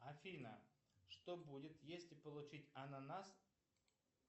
афина что будет если получить ананас